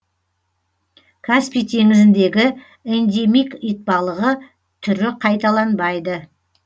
каспий теңізіндегі эндемик итбалығы түрі қайталанбайды